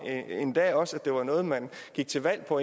endda også at det var noget man gik til valg på